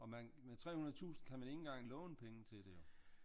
Og med 300 tusind kan man ikke engang låne penge til det jo